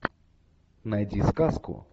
найди сказку